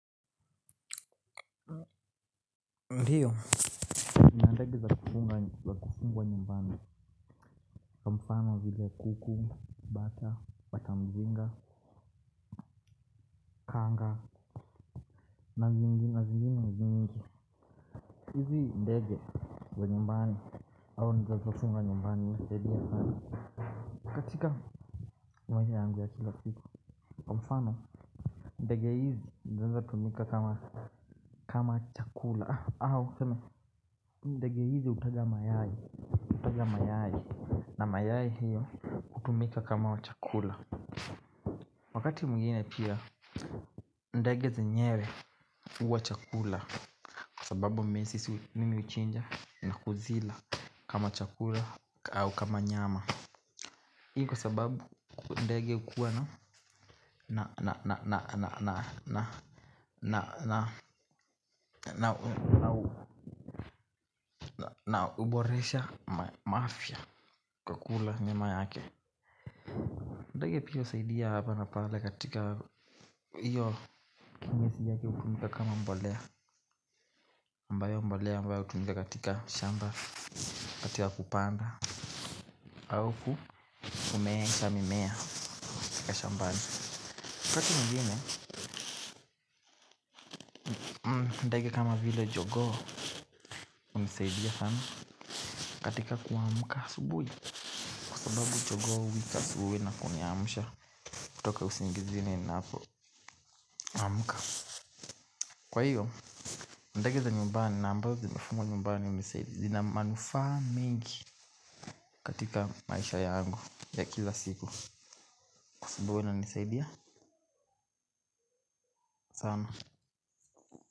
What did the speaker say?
Ndiyo nina ndege za kufungwa nyumbani kwa mfano vile kuku, bata, bata mzinga, mazingira hizi ndege za nyumbani katika maisha yangu ya kila situ kwa mfano ndege hizi znaeza tumika kama chakula au kama ndege hizi utaga mayai utaja mayai. Na mayai hiyo kutumika kama chakula. Wakati mwingine pia ndege zenyewe uwa chakula. Sababu mesi nimi uchinja na kuzila kama chakula au kama nyama kwa sababu ndege huwa na na uboresha mafia kukula nyama yake. Ndege pia usaidi ya hala na pale katika hiyo. Ndake ukumika kama mbolea ambayo mbolea ambayo hutumika katika shamba wakati wa kupanda au kumeesha mimea ka shambani waKati mwingine, ndege kama vile kogoo hunisaidia sana katika kuamka asubui sababu kutoka usingizini napo amuka. Kwa hiyo, ndege za nyumbani na ambayo zimefungwa nyumbani umisaidi zina manufa mingi katika maisha yangu ya kila siku sebuwe ina nisaidia sana.